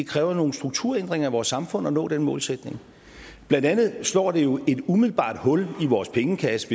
kræver nogle strukturændringer i vores samfund at nå den målsætning blandt andet slår det jo et umiddelbart hul i vores pengekasse